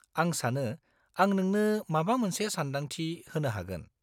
-आं सानो आं नोंनो माबा मोनसे सानदांथि होनो हागोन।